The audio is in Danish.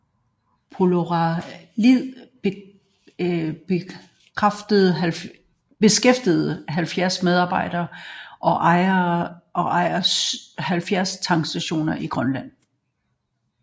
Poloroil beskæftiger 70 medarbejdere og ejer 70 tankstationer i Grønland